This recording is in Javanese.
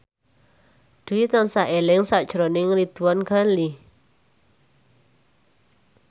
Dwi tansah eling sakjroning Ridwan Ghani